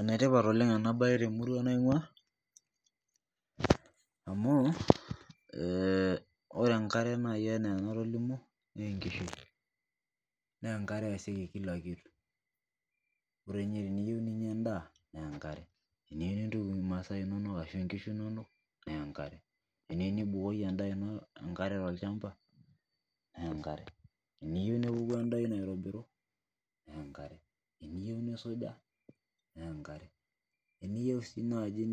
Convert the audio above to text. Enetipat oleng ena mbae temurua naingua amu ee ore enkare enaa naaji enatolimuo naa enkishui naa enkera eyasieki kila kitu amu ore teniyieu ninyia endaa naa enkare teniyieu nintuku masaa inono arashu enkishu inono naa enkera teniyieu nibukoki endaa shamba naa enkera teniyieu nepuku endaa ino aitobiru naa enkare teniyieu nisuja naa enkare teniyieu sii naaji